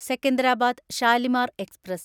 Secunderabad Shalimar express